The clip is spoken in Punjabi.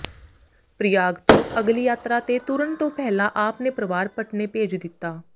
ਪ੍ਰਯਾਗ ਤੋਂ ਅਗਲੀ ਯਤਾਰਾ ਤੇ ਤੁਰਨ ਤੋਂ ਪਹਿਲਾਂ ਆਪ ਨੇ ਪਰਵਾਰ ਪਟਨੇ ਭੇਜ ਦਿੱਤਾ